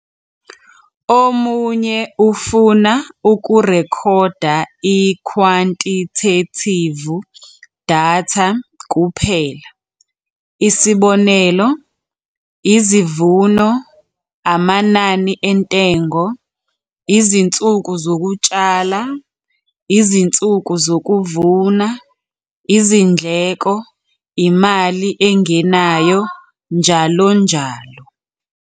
Omunye ufuna ukurekhoda ikhwantithethivu datha kuphela isib. izivuno, amanani entengo, izinsuku zokutshala, izinsuku zokuvuna, izindleko, imali engenayo njl.